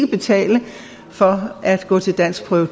betale for at gå til danskprøve